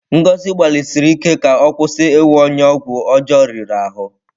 Ngozi gbalịsiri ike ka ọ kwụsị iwu onye ọgwụ ọjọọ riri ahụ.